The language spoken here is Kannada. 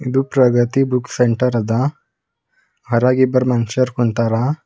ಇದು ಪ್ರಗತಿ ಬುಕ್ ಸೆಂಟರ್ ಅದ ಹೊರಗ್ ಇಬ್ರ ಮನುಷ್ಯರ್ ಕುಂತರ.